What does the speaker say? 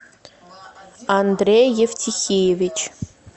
андрей евтихеевич